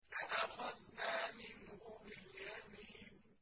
لَأَخَذْنَا مِنْهُ بِالْيَمِينِ